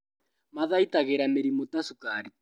Mathaitagĩra mĩrimũ ta cukari